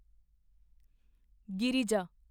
Girija